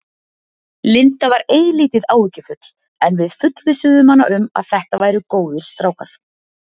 Linda var eilítið áhyggjufull en við fullvissuðum hana um að þetta væru góðir strákar.